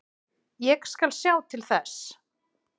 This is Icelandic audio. Ég skal sjá til þess.